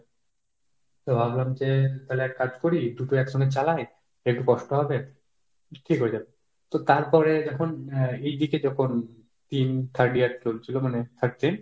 তো ভাবলাম যে তালে একটা কাজ করি, দুটো একসঙ্গে চালাই একটু কষ্ট হবে ঠিক হয়ে যাবে। তো তারপরে যখন আহ এদিকে যখন তিন third year চলছিল মানে third sem